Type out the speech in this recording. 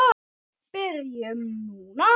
Byrjum núna.